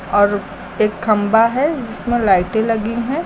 और एक खंभा है जिसमें लाइटें लगी हैं।